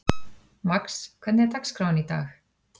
Max, hvernig er dagskráin í dag?